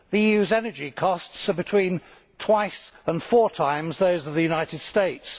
The EU's energy costs are between twice and four times those of the United States.